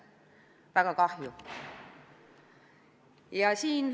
Väga kahju!